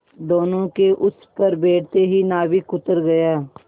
दोेनों के उस पर बैठते ही नाविक उतर गया